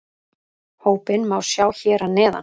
Hópinn má sjá hér að neðan